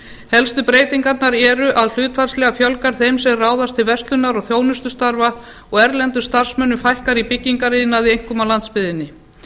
helstu breytingarnar eru að hlutfallslega fjölgar þeim sem ráðast til verslunar og þjónustustarfa og erlendum starfsmönnum fækkar í byggingariðnaði einkum á landsbyggðinni